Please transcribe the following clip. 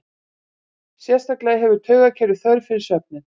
Sérstaklega hefur taugakerfið þörf fyrir svefninn.